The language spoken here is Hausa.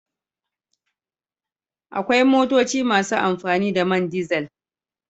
Akwai motoci masu amfani da man dizel.